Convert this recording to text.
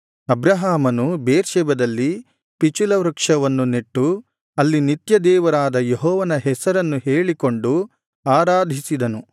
ಅಬ್ರಹಾಮನು ಬೇರ್ಷೆಬದಲ್ಲಿ ಪಿಚುಲ ವೃಕ್ಷವನ್ನು ನೆಟ್ಟು ಅಲ್ಲಿ ನಿತ್ಯದೇವರಾದ ಯೆಹೋವನ ಹೆಸರನ್ನು ಹೇಳಿಕೊಂಡು ಆರಾಧಿಸಿದನು